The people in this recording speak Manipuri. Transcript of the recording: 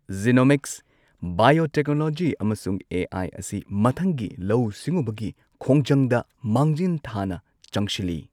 ꯖꯤꯅꯣꯃꯤꯛꯁ, ꯕꯥꯏꯑꯣꯇꯦꯛꯅꯣꯂꯣꯖꯤ ꯑꯃꯁꯨꯡ ꯑꯦ.ꯑꯥꯏ ꯑꯁꯤ ꯃꯊꯪꯒꯤ ꯂꯧꯎ ꯁꯤꯡꯎꯕꯒꯤ ꯈꯣꯡꯖꯪꯗ ꯃꯥꯡꯖꯤꯟ ꯊꯥꯅ ꯆꯪꯁꯤꯜꯂꯤ꯫